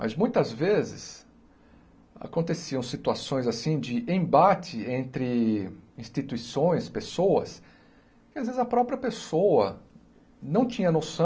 Mas muitas vezes aconteciam situações assim de embate entre instituições, pessoas, que às vezes a própria pessoa não tinha noção